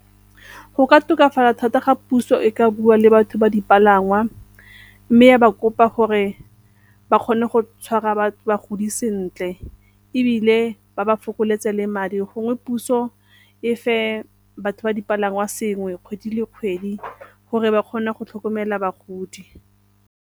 Go ka tokafala thata ga puso e ka bua le batho ba dipalangwa mme ya ba kopa gore ba kgone go tshwara bagodi sentle ebile ba ba fokoletsa le madi, gongwe puso e fe batho ba dipalangwa sengwe kgwedi le kgwedi gore ba kgone go tlhokomela bagodi.